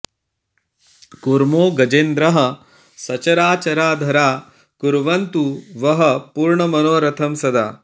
कूर्मो गजेन्द्रः सचराऽचरा धरा कुर्वन्तु वः पूर्णमनोरथं सदा